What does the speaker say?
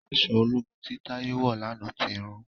Aṣọ ológun tí Taye wọ lànà tí rún